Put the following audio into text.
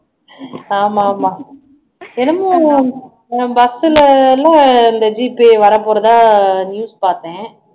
ஆமாமா என்னமோ BUS ல எல்லாம் இந்த G pay வரப்போறதா நியூஸ் பாத்தேன்